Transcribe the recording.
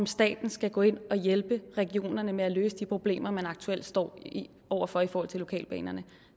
staten skal gå ind og hjælpe regionerne med at løse de problemer man aktuelt står over for i forhold til lokalbanerne